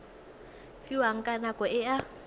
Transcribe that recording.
fiwang ka nako e a